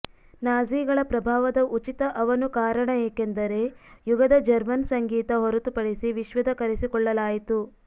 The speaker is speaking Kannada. ನಾಝಿಗಳ ಪ್ರಭಾವದ ಉಚಿತ ಅವನು ಕಾರಣ ಏಕೆಂದರೆ ಯುಗದ ಜರ್ಮನ್ ಸಂಗೀತ ಹೊರತುಪಡಿಸಿ ವಿಶ್ವದ ಕರೆಸಿಕೊಳ್ಳಲಾಯಿತು